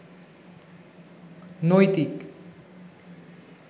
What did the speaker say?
নৈতিক